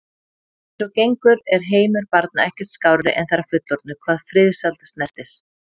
Eins og gengur er heimur barna ekkert skárri en þeirra fullorðnu hvað friðsæld snertir.